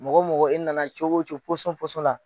Mɔgɔ mɔgɔ e nana cogo cogo la